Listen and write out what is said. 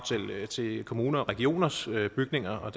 til kommuners og regioners bygninger og